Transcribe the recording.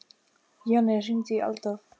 Jonný, hringdu í Adólf.